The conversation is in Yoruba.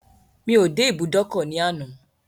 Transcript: Mi ò dé ibùdókọ̀ ní àná.